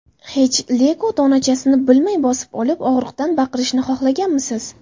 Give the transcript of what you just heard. Hech Lego donachasini bilmay bosib olib, og‘riqdan baqirishni xohlaganmisiz?